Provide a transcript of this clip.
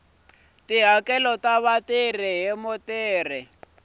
tihakelo ta vatirhi hi mutirhi